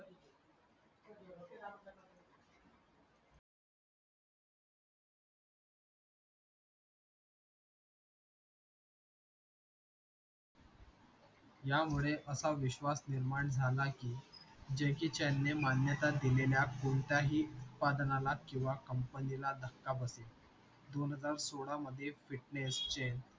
त्यामुळे असा विश्वास निर्माण झाला की jackie chan ने मान्यता दिलेल्या कोणत्याही उत्पादकांना किंवा company ला दसका बसेल दोन हजार सोहळा मधे